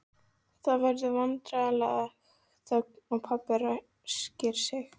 Það verður vandræðaleg þögn og pabbi ræskir sig.